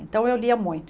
Então eu lia muito.